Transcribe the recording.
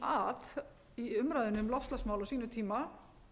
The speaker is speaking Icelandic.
kom að í umræðunni um loftslagsmál á sínum tíma